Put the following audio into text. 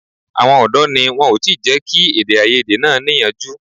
Àwọn ọ̀dọ́ ni wọn ò tí ì jẹ́ kí èdèàìyedè náà níyanjú